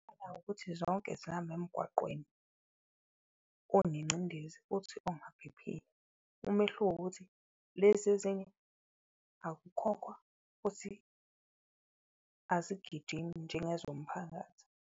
Ngicabanga ukuthi zonke zihambe emgwaqweni onengcindezi futhi ongaphephile, umehluko ukuthi lezi ezinye akukhokhwa futhi azigijimi njengezomphakathi.